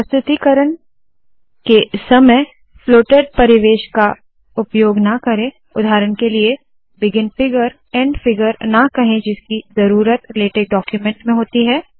प्रस्तुतिकरण के समय फ्लोटेड परिवेश का उपयोग ना करे उदाहरण के लिए बिगिन फिगर एंड फिगर ना कहे जिसकी ज़रूरत लेटेक डाक्यूमेन्ट में होती है